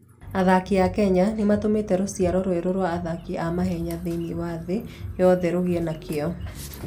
Athaki a Kenya nĩ matũmĩte rũciaro rwerũ rwa athaki a mahenya thĩinĩ wa thĩ yothe rũgĩe na kĩyo.